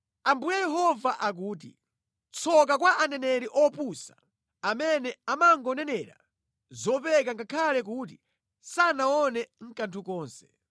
Ambuye Yehova akuti, ‘Tsoka kwa aneneri opusa amene amangonenera zopeka ngakhale kuti sanaone kanthu konse!’